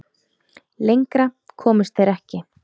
Lengra komust þeir ekki.